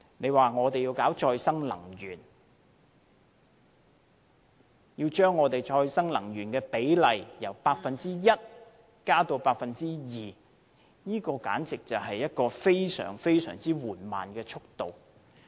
如果我們要搞再生能源，要將再生能源的比例由 1% 增至 2%， 這簡直是一個非常緩慢的速度。